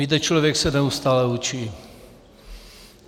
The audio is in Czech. Víte, člověk se neustále učí.